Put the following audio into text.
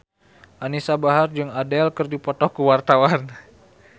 Anisa Bahar jeung Adele keur dipoto ku wartawan